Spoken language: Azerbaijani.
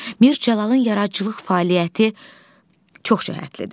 Mir Cəlalın yaradıcılıq fəaliyyəti çoxcəhətlidir.